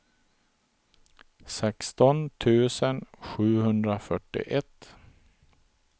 sexton tusen sjuhundrafyrtioett